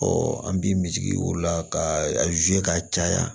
an bi misiw la ka ka caya